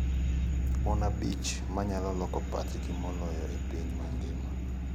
Mon abich manyalo loko pachji moloyo e piny mangima.